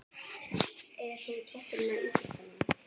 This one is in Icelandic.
Er hún toppurinn á ísjakanum?